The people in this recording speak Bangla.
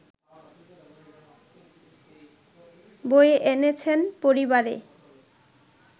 বয়ে এনেছেন পরিবারে